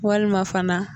Walima fana